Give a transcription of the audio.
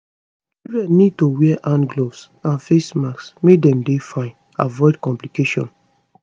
children need to wear hand gloves and face masks make dem dey fine avoid complications